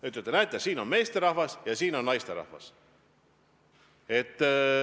Ütlete, et näete, siin on meesterahvas ja siin on naisterahvas.